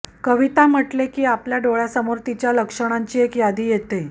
कविता म्हटले की आपल्या डोळ्यासमोर तिच्या लक्षणांची एक यादी येते